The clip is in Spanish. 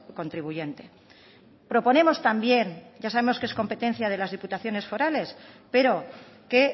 contribuyente proponemos también ya sabemos que es competencia de las diputaciones forales pero que